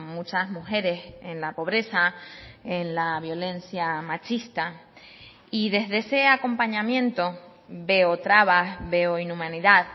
muchas mujeres en la pobreza en la violencia machista y desde ese acompañamiento veo trabas veo inhumanidad